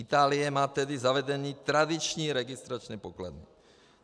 Itálie má tedy zavedeny tradiční registrační pokladny.